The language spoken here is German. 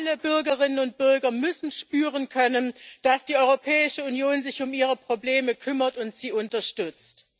Alle Bürgerinnen und Bürger müssen spüren können, dass die Europäische Union sich um ihre Probleme kümmert und sie unterstützt.